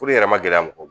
yɛrɛ ma gɛlɛya mɔgɔ